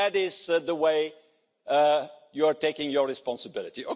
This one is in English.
That is the way you are taking your responsibility.